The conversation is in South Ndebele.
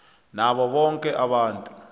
nabo boke abantu